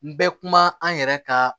N bɛ kuma an yɛrɛ ka